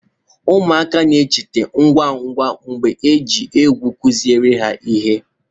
ụmụaka na-echeta ngwa ngwa mgbe ejiri ukwe kụziere ha ihe